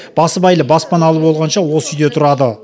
басыбайлы баспаналы болғанша осы үйде тұрады